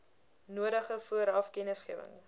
nodige vooraf kennisgewing